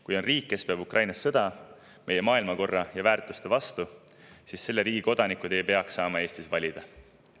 Kui on riik, kes peab Ukrainas sõda meie maailmakorra ja väärtuste vastu, siis selle riigi kodanikud ei peaks saama Eestis valida.